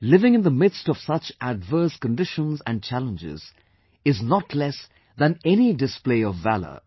Living in the midst of such adverse conditions and challenges is not less than any display of valour